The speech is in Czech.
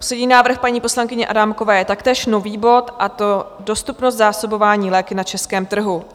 Poslední návrh paní poslankyně Adámkové je taktéž nový bod, a to Dostupnost zásobování léky na českém trhu.